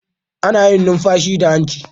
Ana yin numfashi da hanci.